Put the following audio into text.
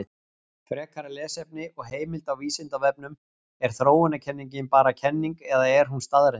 Frekara lesefni og heimild á Vísindavefnum: Er þróunarkenningin bara kenning eða er hún staðreynd?